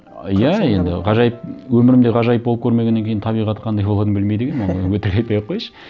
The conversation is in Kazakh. иә енді ғажайып өмірімде ғажайып болып көрмегеннен кейін табиғаты қандай болатынын білмейді екенмін оны өтірік айтпай ақ кояйыншы